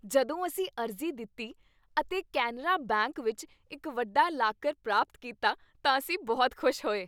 ਜਦੋਂ ਅਸੀਂ ਅਰਜ਼ੀ ਦਿੱਤੀ ਅਤੇ ਕੇਨਰਾ ਬੈਂਕ ਵਿੱਚ ਇੱਕ ਵੱਡਾ ਲਾਕਰ ਪ੍ਰਾਪਤ ਕੀਤਾ ਤਾਂ ਅਸੀਂ ਬਹੁਤ ਖੁਸ਼ ਹੋਏ।